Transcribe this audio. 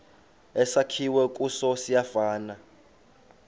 esakhiwe kuso siyafana